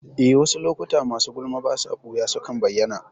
Eh, wasu lokuta masu gulma basa ɓuya sukan bayyana